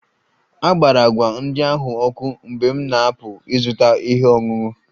A gbara agwa ndị ahụ ọkụ mgbe m na-apụ ịzụta ihe ọṅụṅụ